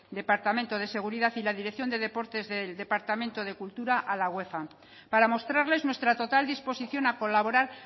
departamento de seguridad y la dirección de deportes del departamento de cultura a la uefa para mostrarles nuestra total disposición a colaborar